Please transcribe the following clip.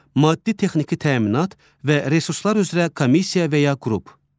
Maddi-texniki təminat və resurslar üzrə komissiya və ya qrup.